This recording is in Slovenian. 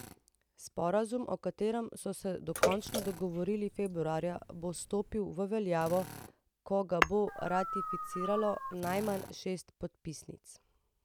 Sporazum, o katerem so se dokončno dogovorili februarja, bo stopil v veljavo, ko ga bo ratificiralo najmanj šest podpisnic.